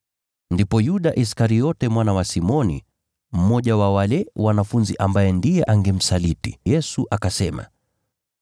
Ndipo Yuda Iskariote mwana wa Simoni, mmoja wa wale wanafunzi ambaye ndiye angemsaliti Yesu, akasema,